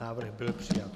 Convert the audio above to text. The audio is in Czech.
Návrh byl přijat.